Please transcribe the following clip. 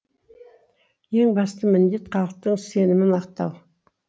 ең басты міндет халықтың сенімін ақтау